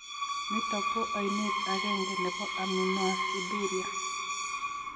Nitok ko ainet agenge nebo aminoaciduria.